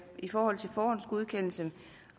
i forhold til forhåndsgodkendelsen